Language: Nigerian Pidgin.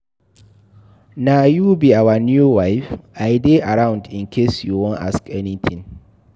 Na you be our new wife?I dey around in case you wan ask anything